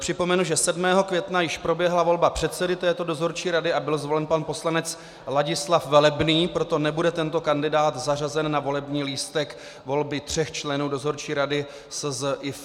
Připomenu, že 7. května již proběhla volba předsedy této dozorčí rady a byl zvolen pan poslanec Ladislav Velebný, proto nebude tento kandidát zařazen na volební lístek volby tří členů Dozorčí rady SZIF.